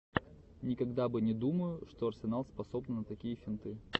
никогда бы не думаю что арсенал способны на такие финты